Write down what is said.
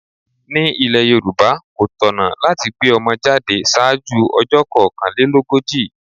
Ní ile Yorùbá, kò tọ̀nà láti gbé ọmọ jáde ṣáájú ọjọ́ kokanlelogoji.